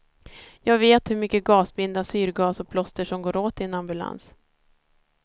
Jag vet hur mycket gasbinda, syrgas och plåster som går åt i en ambulans.